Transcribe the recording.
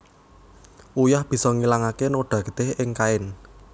Uyah bisa ngilangaké noda getih ing kain